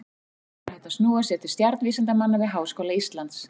Einnig er hægt að snúa sér til stjarnvísindamanna við Háskóla Íslands.